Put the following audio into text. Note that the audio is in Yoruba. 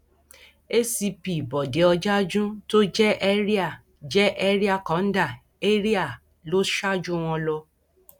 acp bọde ọjájún tó jẹ ẹrià jẹ ẹrià kọńdà area a lọ ṣáájú wọn lọ